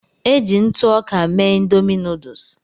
Eji ntụ ọka mee Ịndomì nuduls.